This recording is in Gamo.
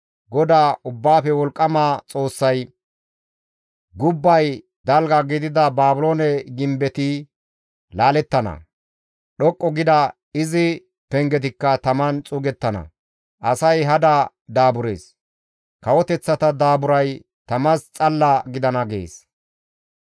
GODAY Ubbaafe Wolqqama Xoossay, «Gubbay dalga gidida Baabiloone gimbetti laalettana; dhoqqu gida izi pengetikka taman xuugettana; asay hada daaburees; kawoteththata daaburay tamas xalla gidana» gees.